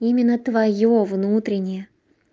именно твоё внутреннее